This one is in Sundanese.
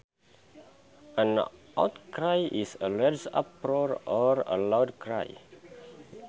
An outcry is a large uproar or a loud cry